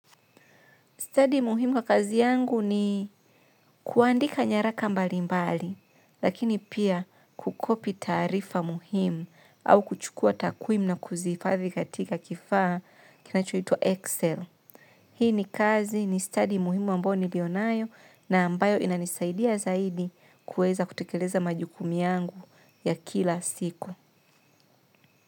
Study muhimu wa kazi yangu ni kuandika nyaraka mbalimbali lakini pia kukopi tarifa muhimu au kuchukua takwimu na kuzifadhi katika kifaa kinachoitwa Excel. Hii ni kazi ni studi muhimu ambao niliyo nayo na ambayo inanisaidia zaidi kuweza kutekeleza majukumu yangu ya kila siku.